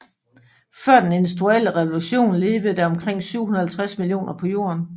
Før den industrielle revolution levede der omkring 750 millioner på Jorden